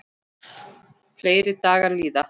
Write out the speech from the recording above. Fleiri dagar líða.